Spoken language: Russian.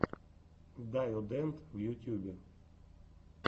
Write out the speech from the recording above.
дайодэнд в ютьюбе